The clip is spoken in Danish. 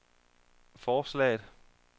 forslaget